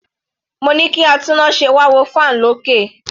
Mo ní kí atúnnáse wá wo fan olókè.